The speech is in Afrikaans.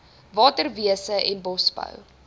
waterwese en bosbou